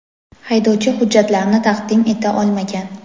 haydovchi hujjatlarini taqdim eta olmagan.